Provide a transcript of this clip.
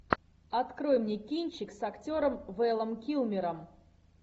открой мне кинчик с актером вэлом килмером